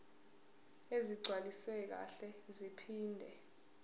ezigcwaliswe kahle zaphinde